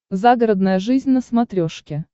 загородная жизнь на смотрешке